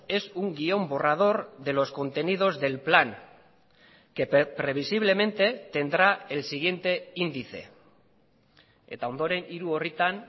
es un guión borrador de los contenidos del plan que previsiblemente tendrá el siguiente índice eta ondoren hiru orritan